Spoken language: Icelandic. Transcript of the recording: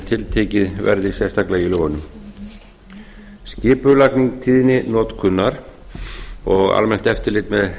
tiltekið verði sérstaklega í lögunum skipulagning tíðninotkunar og almennt eftirlit með